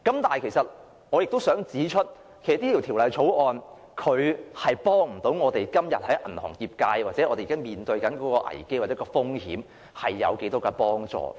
但是，我亦想指出，《條例草案》無法為銀行業界或我們現時面對的危機或風險帶來多少幫助。